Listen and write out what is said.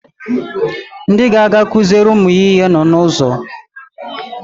Ndị ga-aga kụziere ụmụ ya ihe nọ n'ụzọ